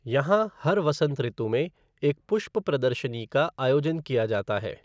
यहाँ हर वसंत ऋतु में एक पुष्प प्रदर्शनी का आयोजन किया जाता है।